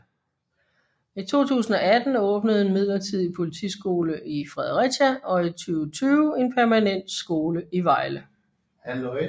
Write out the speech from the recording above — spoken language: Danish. I 2018 åbnede en midlertidig politisiole i Fredericia og i 2020 en permanent skole i Vejle